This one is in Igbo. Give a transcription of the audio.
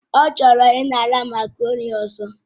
Ọ chọrọ ịnara makarọ̀ni ọzọ